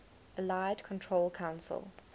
allied control council